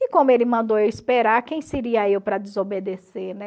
E como ele mandou eu esperar, quem seria eu para desobedecer, né?